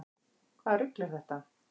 Hvaða rugl er þetta?